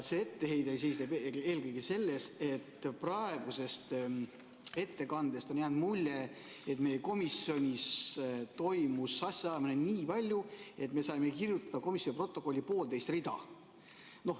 See etteheide seisneb eelkõige selles, et praegusest ettekandest on jäänud mulje, et meie komisjonis toimus asjaajamist nii palju, et me saime kirjutada komisjoni protokolli poolteist rida.